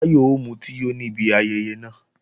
Táyọ̀ ó mutí yó níbi ayẹyẹ náà